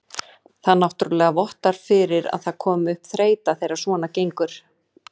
Það náttúrulega vottar fyrir að það komi upp þreyta þegar svona gengur.